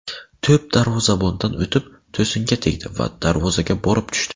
To‘p darvozabondan o‘tib, to‘singa tegdi va darvozaga borib tushdi.